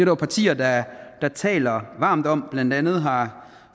jo partier der taler varmt om blandt andet har